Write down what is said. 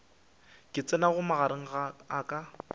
ka tsenago magareng a ka